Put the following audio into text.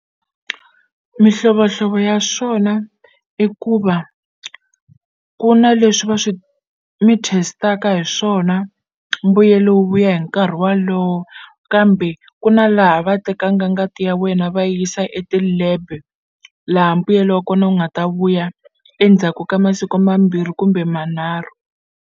Mihlovohlovo ya swona i ku va ku na leswi va swi mi test-aka hi swona mbuyelo wu vuya hi nkarhi walowo kambe ku na laha va tekanga ngati ya wena va yisa eti-lab laha mbuyelo wa kona wu nga ta vuya endzhaku ka masiku mambirhi kumbe manharhu.